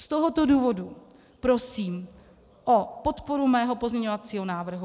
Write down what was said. Z tohoto důvodu prosím o podporu svého pozměňovacího návrhu.